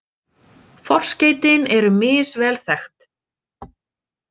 Forskeytin eru misvel þekkt.